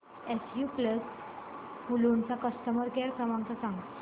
SU pumps Mulund चा customer care क्रमांक सांगा